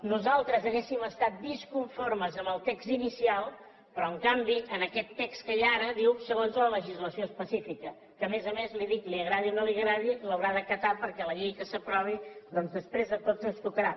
nosaltres hauríem estat disconformes amb el text inicial però en canvi en aquest text que hi ha ara diu segons la legislació específica que a més a més li dic que li agradi o no li agradi l’haurà d’acatar perquè la llei que s’aprovi doncs després a tots ens tocarà